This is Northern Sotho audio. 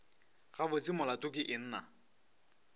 gabotse molato ke eng na